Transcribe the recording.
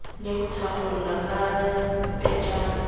le ho thakgola ka pejana